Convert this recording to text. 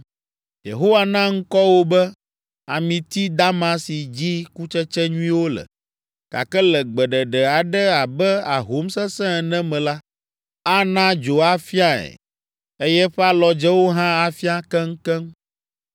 Yehowa na ŋkɔ wò be amiti dama si dzi kutsetse nyuiwo le. Gake le gbeɖeɖe aɖe abe ahom sesẽ ene me la, ana dzo afiae eye eƒe alɔdzewo hã afia keŋkeŋ.